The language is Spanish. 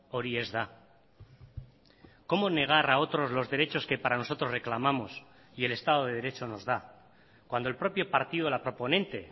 hori ez da cómo negar a otros los derechos que para nosotros reclamamos y el estado de derecho nos da cuando el propio partido la proponente